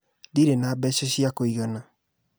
Ndirĩ na mbeca cia kũigana